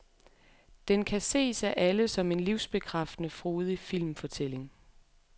Den kan ses af alle som en livsbekræftende, frodig filmfortælling.